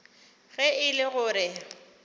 ge e le go re